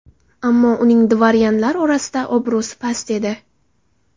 Ammo uning dvoryanlar orasida obro‘si past edi.